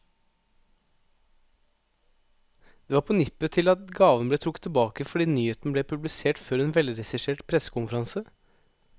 Det var på nippet til at gaven ble trukket tilbake, fordi nyheten ble publisert før en velregissert pressekonferanse.